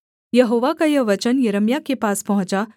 यहोवा का यह वचन यिर्मयाह के पास पहुँचा